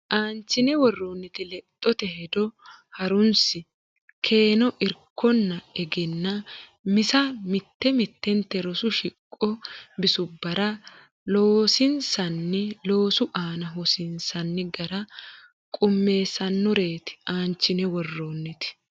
Aanchine worroonniti lexxote hedo ha runsi keeno irkonna egennaa misa mitte mittente rosu shiqo bisubbara loosansiinsanni loosu aana hosiinsanni gara qummissannoreeti Aanchine worroonniti.